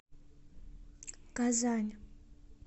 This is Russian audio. казань